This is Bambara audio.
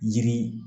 Yiri